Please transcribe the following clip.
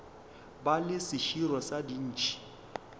ba le seširo sa dintšhi